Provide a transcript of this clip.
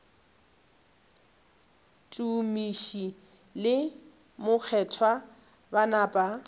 tumiši le mokgethwa ba napa